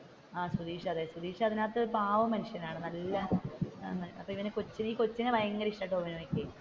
സുതീഷ് അതെ സുതീഷ് അതിന്റെ അകത്തു ഒരു പാവം മനുഷ്യനാണ് നല്ല കൊച്ചിനെ ഭയങ്കര ഇഷ്ടമാണ്, ടോവിനോക്ക്